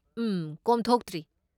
ꯎꯝ, ꯀꯣꯝꯊꯣꯛꯇ꯭ꯔꯤ꯫